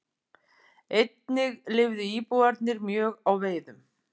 Einnig lifðu íbúarnir mjög á veiðum.